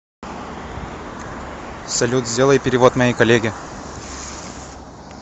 салют сделай перевод моей коллеге